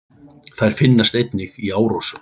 Þær finnast einnig í árósum.